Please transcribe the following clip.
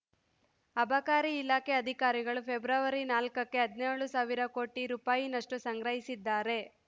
ಅಬಕಾರಿ ಇಲಾಖೆ ಅಧಿಕಾರಿಗಳು ಫೆಬ್ರವರಿ ನಾಲ್ಕಕ್ಕೆ ಹದಿನೇಳು ಸಾವಿರ ಕೋಟಿ ರುನಷ್ಟುಸಂಗ್ರಹಿಸಿದ್ದಾರೆ